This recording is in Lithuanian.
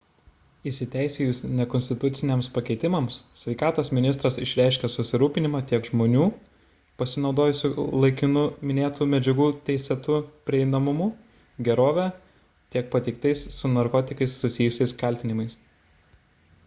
įsiteisėjus nekonstituciniams pakeitimams sveikatos ministras išreiškė susirūpinimą tiek žmonių pasinaudojusių laikinu minėtų medžiagų teisėtu prieinamumu gerove tiek pateiktais su narkotikais susijusiais kaltinimais